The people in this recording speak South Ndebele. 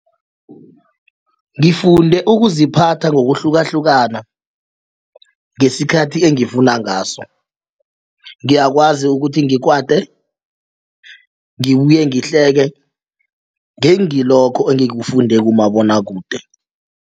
Ngifunde ukuziphatha ngokuhlukahlukana ngesikhathi engifuna ngaso ngiyakwazi ukuthi ngikwate ngibuye ngihleke ngengilokho engikufunde kumabonwakude.